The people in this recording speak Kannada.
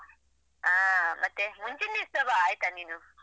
ಹಾ ಮುಂಚಿನ ದಿವಸ ಬಾ ಆಯ್ತಾ ನೀನು.